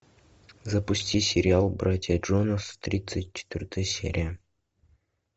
запусти сериал братья джонас тридцать четвертая серия